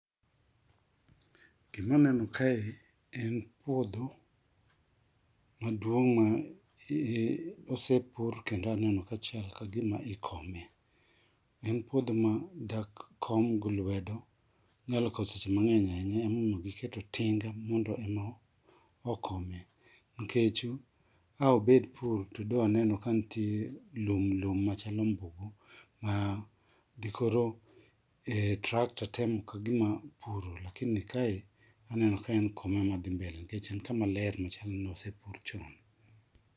GIma aneno kae en puodho maduong' ma osepur kendo aneno kachal kagima ikome. En puodho ma dak kom gi lwedo, inyalo kawo seche mang'eny ahinya, emomiy giketo tinga mondo ema okome nikech a obed pur to da waneno kanitie lum lum machal ombugu ma dikoro tractor temo kagima puro to koro kaw en kama ler machal ni ne osepur chon.